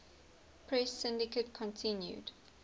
press syndicate continued